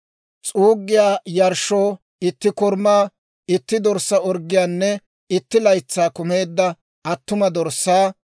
s'uuggiyaa yarshshoo, itti korumaa, itti dorssaa orggiyaanne itti laytsay kumeedda attuma dorssaa;